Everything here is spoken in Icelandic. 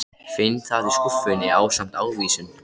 Finn það í skúffunni ásamt ávísun.